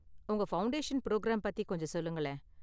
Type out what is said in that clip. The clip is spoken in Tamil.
உங்க ஃபவுண்டேஷன் புரோகிராம் பத்தி கொஞ்சம் சொல்லுங்களேன்.